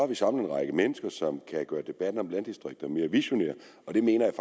vi samlet en række mennesker som kan gøre debatten om landdistrikterne mere visionær og det mener jeg